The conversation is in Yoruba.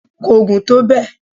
ko gùn tó bẹ